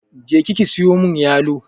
Je ki ki siyo mun yalo!